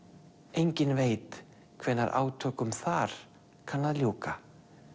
enginn veit hvenær átökum þar kann að ljúka